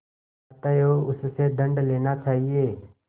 अतएव उससे दंड लेना चाहिए